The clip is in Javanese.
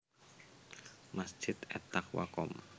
Masjid At Taqwa Komp